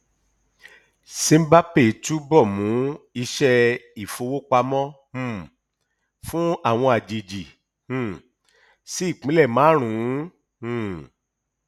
simbapay túbọ mú iṣẹ ìfowópamọ um fún àwọn àjèjì um sí ìpínlẹ márùn ún um